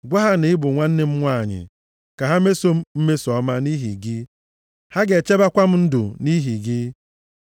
Gwa ha na ị bụ nwanne m nwanyị, ka ha meso m mmeso ọma nʼihi gị. Ha ga-echebekwa m ndụ nʼihi gị.”